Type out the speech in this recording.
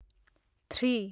three